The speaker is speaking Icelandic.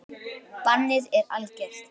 Bannið er algert.